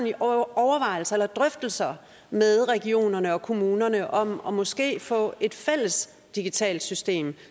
i overvejelser eller drøftelser med regionerne og kommunerne om om måske at få et fælles digitalt system